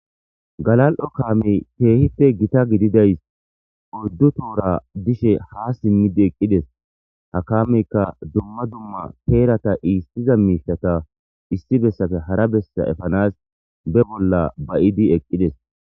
Galali'o kaamey keehippe gita gididay oyddu tohora bishe haa simmidi eqqides. Ha kaameykka dumma dumma heerata iissiza miishshata issi bessappe hara bessa efanaas be bolla ba'idi eqqides.